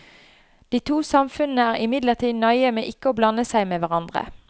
De to samfunnene er imidlertid nøye med ikke å blande seg med hverandre.